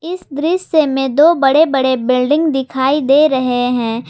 इस दृश्य में दो बड़े बड़े बिल्डिंग दिखाई दे रहे हैं।